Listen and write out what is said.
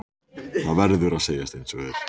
Það verður að segjast einsog er.